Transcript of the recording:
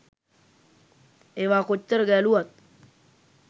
ඒවා කොච්චර ගැලුවත්